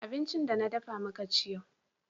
abinci da na dafa muka ci yau